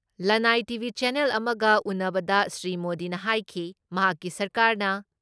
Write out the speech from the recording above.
ꯂꯟꯅꯥꯏ TV. Channel ꯑꯃꯒ ꯎꯟꯅꯕꯗ ꯁ꯭ꯔꯤ ꯃꯣꯗꯤꯅ ꯍꯥꯏꯈꯤ ꯃꯍꯥꯛꯀꯤ ꯁꯔꯀꯥꯔꯅ